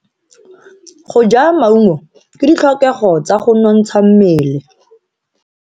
Go ja maungo ke ditlhokego tsa go nontsha mmele.